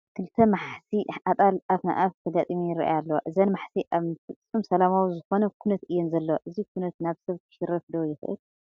ክልተ መሓሲእ ኣጣል ኣፍ ንኣፍ ተጋጢመን ይርአያ ኣለዋ፡፡ እዘን መሓሲእ ኣብ ፍፅም ሰላማዊ ዝኾነ ኩነት እየን ዘለዋ፡፡ እዚ ኩነት ናብ ሰብ ክሽረፍ ዶ ይኽእል?